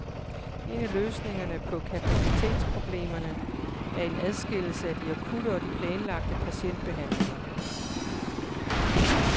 En af løsningerne på kapacitetsproblemerne er en adskillelse af de akutte og de planlagte patientbehandlinger.